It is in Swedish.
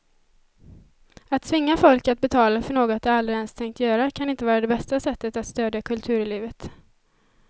Att tvinga folk att betala för något de aldrig ens tänkt göra kan inte vara det bästa sättet att stödja kulturlivet.